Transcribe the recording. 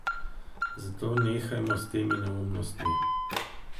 Zato nehajmo s temi neumnostmi.